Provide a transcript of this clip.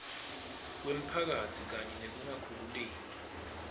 kwemphakatsi kanye nekungakhululeki